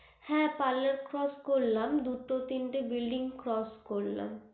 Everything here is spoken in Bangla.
হ্যা parlor crotch করলাম দুটো তিনটে building করলাম